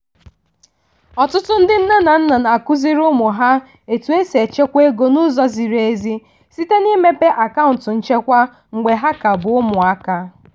ọtụtụ ndị nne na nna na-akụziri ụmụ ha etu esi echekwa ego n'ụzọ ziri ezi site n'imepe akaụntụ nchekwa mgbe ha ka bụ ụmụaka